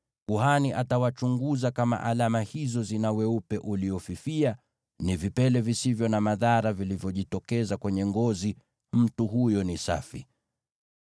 kuhani atamchunguza, na kama alama hizo zina weupe uliofifia, ni vipele visivyo na madhara vilivyojitokeza kwenye ngozi; mtu huyo ni safi.